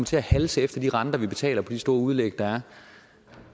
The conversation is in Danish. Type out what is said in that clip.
til at halse efter de renter vi betaler på de store udlæg der